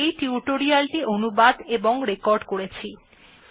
এই টিউটোরিয়াল এ অংশগ্রহণ করার জন্য ধন্যবাদ